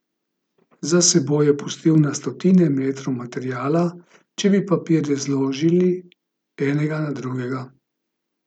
Za seboj je pustil na stotine metrov materiala, če bi papirje zložili enega na drugega.